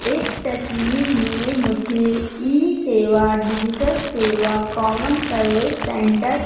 इस तस्वीर में मुझे ई सेवा डिजिटल सेवा कॉमन सर्विस सेंटर --